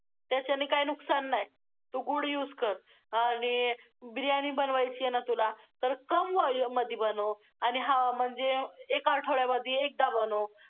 त्याच्याने काय नुकसान नाही, तू गूळ use कर आणि बिर्याणी बनवायची आहे ना तुला, तर कम oil मध्ये बनव आणि हां, म्हणजे एका आठवड्यामध्ये एकदा बनव.